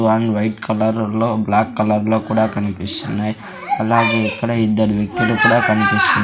one white colour లో black colour లో కూడా కనిపిస్తున్నాయి అలాగే ఇక్కడ ఇద్దరు వ్యక్తులు కూడా కనిపిస్ --